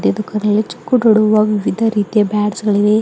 ಇದಕ ವಿವಿಧ ರೀತಿ ಬ್ಯಾಟ್ಸ್ ಗಳಿವೆ.